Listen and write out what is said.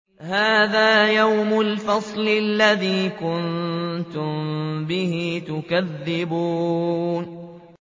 هَٰذَا يَوْمُ الْفَصْلِ الَّذِي كُنتُم بِهِ تُكَذِّبُونَ